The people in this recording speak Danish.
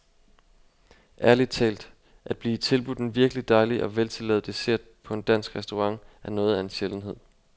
Ærligt talt, at blive tilbudt en virkelig dejlig og veltillavet dessert på en dansk restaurant er noget af en sjældenhed.